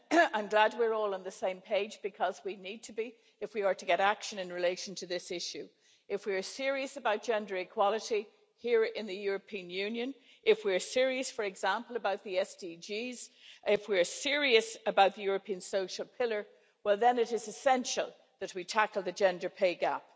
I'm glad we're all on the same page because we need to be if we are to get action in relation to this issue. If we are serious about gender equality here in the European Union, if we are serious, for example, about the sustainable development goals if we are serious about the European social pillar, then it is essential that we tackle the gender pay gap.